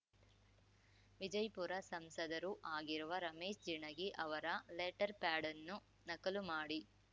ವಿಜಯಪುರ ಸಂಸದರೂ ಆಗಿರುವ ರಮೇಶ ಜಿಣಗಿ ಅವರ ಲೆಟರ್‌ಪ್ಯಾಡನ್ನು ನಕಲು ಮಾಡಿ